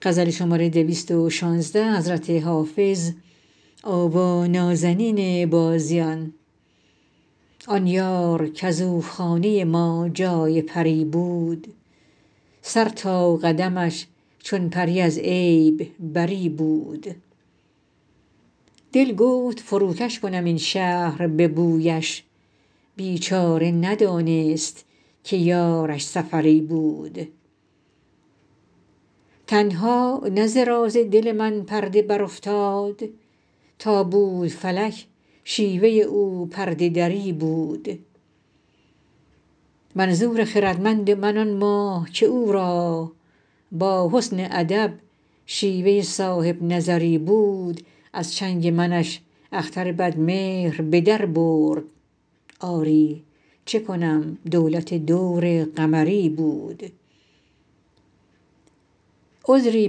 آن یار کز او خانه ما جای پری بود سر تا قدمش چون پری از عیب بری بود دل گفت فروکش کنم این شهر به بویش بیچاره ندانست که یارش سفری بود تنها نه ز راز دل من پرده برافتاد تا بود فلک شیوه او پرده دری بود منظور خردمند من آن ماه که او را با حسن ادب شیوه صاحب نظری بود از چنگ منش اختر بدمهر به در برد آری چه کنم دولت دور قمری بود عذری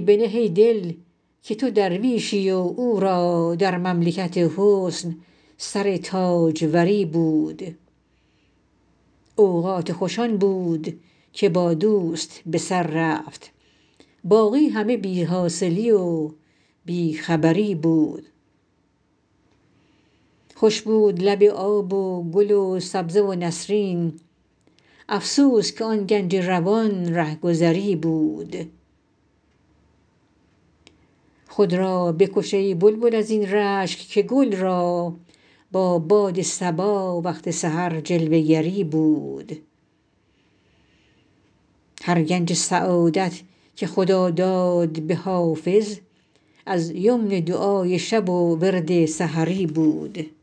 بنه ای دل که تو درویشی و او را در مملکت حسن سر تاجوری بود اوقات خوش آن بود که با دوست به سر رفت باقی همه بی حاصلی و بی خبری بود خوش بود لب آب و گل و سبزه و نسرین افسوس که آن گنج روان رهگذری بود خود را بکش ای بلبل از این رشک که گل را با باد صبا وقت سحر جلوه گری بود هر گنج سعادت که خدا داد به حافظ از یمن دعای شب و ورد سحری بود